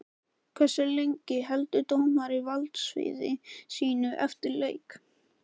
Hversu lengi heldur dómari valdsviði sínu eftir leik?